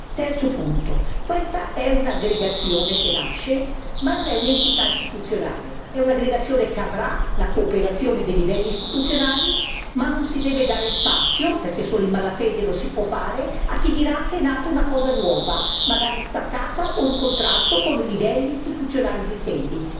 Terzo questa è un'aggregazione che nasce, ma non è un'entità istituzionale, è un'aggregazione che avrà la cooperazione dei livelli istituzionali, ma non si deve dare spazio perché solo in mala fede lo si può fare a chi dirà che è nata una cosa nuova, magari staccata o in contrasto con i livelli istituzionali esistenti